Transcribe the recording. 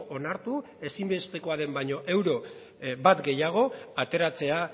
onartu ezinbestekoa den baino euro bat gehiago ateratzea